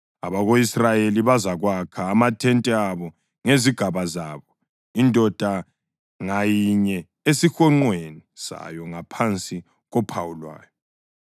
Abako-Israyeli bazakwakha amathente abo ngezigaba zabo, indoda ngayinye esihonqweni sayo ngaphansi kophawu lwayo.